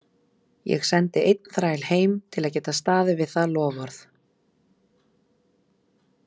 Ég sendi einn þræl heim til að geta staðið við það loforð.